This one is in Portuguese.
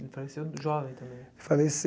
Ele faleceu jovem também.